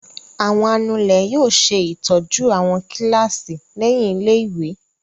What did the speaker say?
Àwọn anulẹ̀ yóò ṣe ìtọ́jú àwọn kíláàsì lẹ́yìn ilé-ìwé.